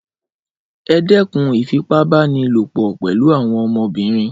Ẹdẹkûn ìfipá-bá-ni-lò-pò pẹlu àwọn ọmọbìnrin